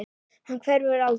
Hann hverfur aldrei.